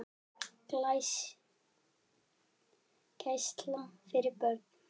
Gæsla fyrir börn.